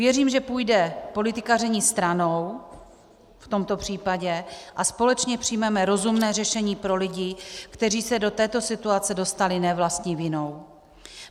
Věřím, že půjde politikaření stranou v tomto případě a společně přijmeme rozumné řešení pro lidi, kteří se do této situace dostali ne vlastní vinou.